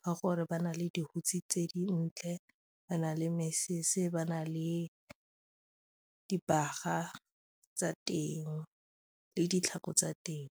ka gore ba na le dihutshe tse dintle, ba na le meses, ba na le dibaga tsa teng le ditlhako tsa teng.